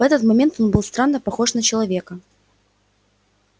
в этот момент он был странно похож на человека